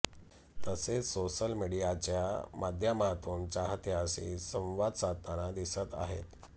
तसेच सोशल मीडियाच्या माध्यामातून चाहत्यांशी संवाद साधताना दिसत आहेत